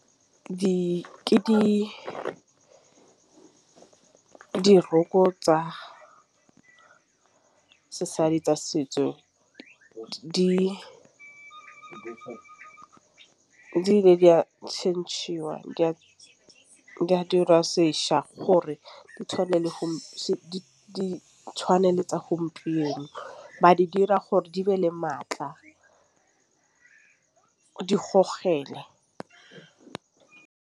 Ke di ke diroko tsa sesadi tsa setso di a tšhentšhiwang dirwa sešha gore di tšhwane le go ditšhwane le tsa gompieno ba di dira gore di be le maatla di gogela.